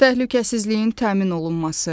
Təhlükəsizliyin təmin olunması.